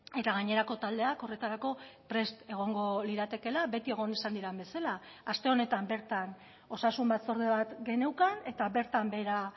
eta gainerako taldeak horretarako prest egongo liratekeela beti egon izan diren bezala aste honetan bertan osasun batzorde bat geneukan eta bertan behera